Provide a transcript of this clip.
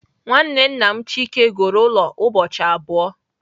Nwanne nna m Chike goro ulo ubochi abuo.